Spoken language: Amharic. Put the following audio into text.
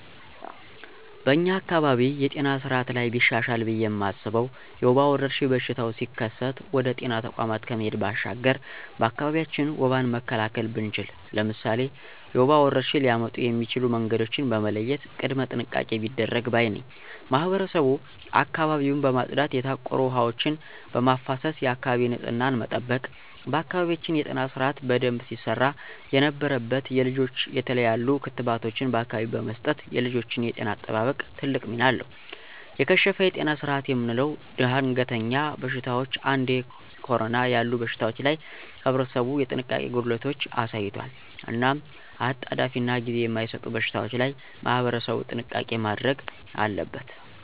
በኛ አካባቢ የጤና ስአት ላይ ቢሻሻል ብየ ማስበው የወባ ወረርሽኝ በሽታው ሲከሰት ወደ ጤና ተቋማት ከመሄድ ባሻገር በአካቢያችን ወባን መካላከል ብንችል። ለምሳሌ፦ የወባ ወረርሽኝ ሊያመጡ የሚችሉ መንገዶችን በመለየት ቅድመ ጥንቃቄ ቢደረግ ባይ ነኝ። ማህበረሰቡ አካባቢውን በማፅዳት የታቆሩ ውሀ ወችን በማፋሰስ የአካባቢ ንፅህናን መጠበቅ። በአካባቢያችን የጤና ስርአት በደንብ ሲሰራ የነበረበት የልጆች የተለያሉ ክትባቶችን በአካቢው በመስጠት የልጆችን የጤና አጠባበቅ ትልቅ ሚና አለው። የከሸፈ የጤና ስርአት የምለው ደንገሀኛ በሽታወች እንዴ ኮረና ያሉ በሽታወች ላይ ህብረተሰቡ የጥንቃቄ ጎደለቶች አሳይቷል። እናም አጣዳፊናጊዜ ማይሰጡ በሽታወች ላይ ማህበረሰቡ ጥንቃቄ ማድረግ አለበት።